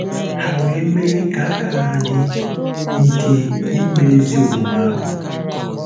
Ha we me ka aka-ha di ike ime ezi omume ahu. ”